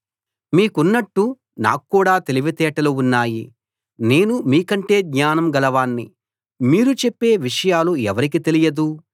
మీకున్నట్టు నాక్కూడా తెలివితేటలు ఉన్నాయి నేను మీకంటే జ్ఞానం గలవాణ్ణి మీరు చెప్పే విషయాలు ఎవరికి తెలియదు